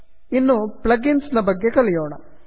ಇನ್ನು plugins ನ ಬಗ್ಗೆ ಕಲಿಯೋಣ